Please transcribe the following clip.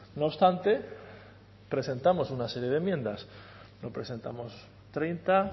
no obstante presentamos una serie de enmiendas no presentamos treinta